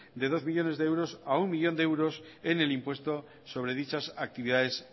de dos millónes de euros a uno millón de euros en el impuesto sobre dichas actividades